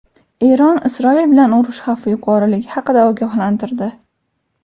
Eron Isroil bilan urush xavfi yuqoriligi haqida ogohlantirdi.